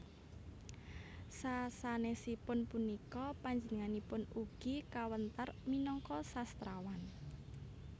Sasanèsipun punika panjenenganipun ugi kawentar minangka sastrawan